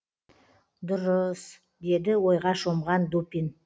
дұрыыыс деді ойға шомған дупин